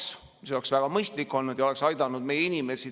See oleks olnud väga mõistlik ja oleks aidanud meie inimesi.